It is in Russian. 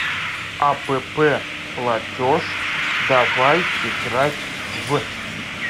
апп платеж давай играть в